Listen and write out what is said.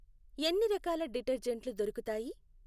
ఎన్ని రకాల డిటర్జెంట్లు దొరుకుతాయి?